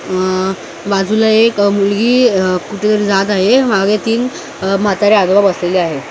आह बाजूला एक मुलगी आह कुठेतरी जात आहे मागे तीन म्हातारे आजोबा बसलेले आहेत.